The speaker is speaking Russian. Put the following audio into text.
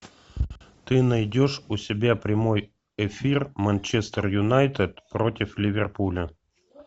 ты найдешь у себя прямой эфир манчестер юнайтед против ливерпуля